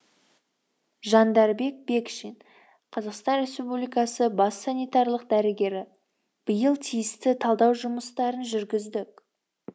жандарбек бекшин қазақстан республикасының бас санитарлық дәрігері биыл тиісті талдау жұмыстарын жүргіздік